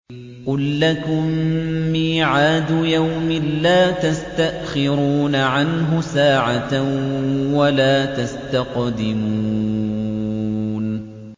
قُل لَّكُم مِّيعَادُ يَوْمٍ لَّا تَسْتَأْخِرُونَ عَنْهُ سَاعَةً وَلَا تَسْتَقْدِمُونَ